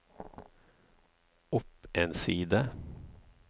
opp en side